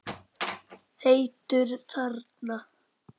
Heitur þarna.